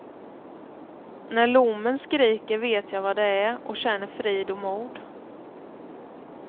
När lommen skriker vet jag vad det är och känner frid och mod.